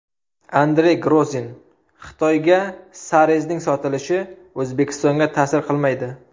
Andrey Grozin: Xitoyga Sarezning sotilishi O‘zbekistonga ta’sir qilmaydi.